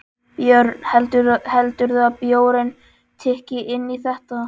Björn: Heldurðu að bjórinn tikki inn í þetta?